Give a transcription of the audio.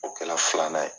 O kɛra filanan ye